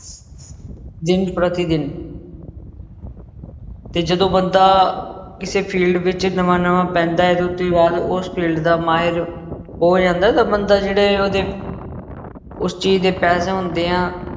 ਦਿਨ ਪ੍ਰਤੀ ਦਿਨ ਤੇ ਜਦੋਂ ਬੰਦਾ ਕਿਸੇ field ਵਿੱਚ ਨਵਾਂ ਨਵਾਂ ਪੈਂਦਾ ਹੈ ਬਾਅਦ ਉਸ field ਦਾ ਮਾਹਿਰ ਹੋ ਜਾਂਦਾ, ਤਾਂ ਬੰਦਾ ਜਿਹੜੇ ਉਹਦੇ ਉਸ ਚੀਜ਼ ਦੇ ਪੈਸੇ ਹੁੰਦੇ ਆ।